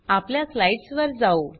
आपल्या स्लाइड्स वर जाऊ